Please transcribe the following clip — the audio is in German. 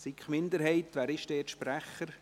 SiK-Minderheit, wer ist deren Sprecher?